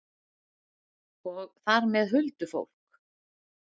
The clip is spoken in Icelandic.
Og þar með huldufólk?